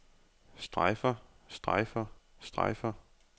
strejfer strejfer strejfer